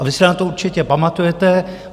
A vy si na to určitě pamatujete.